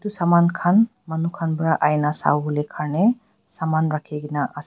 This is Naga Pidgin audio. saman khan manu khan para aina sawole kharne saman rakhi kena ase.